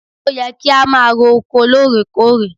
Ó yẹ kí a máa ro oko lóòrékòrè!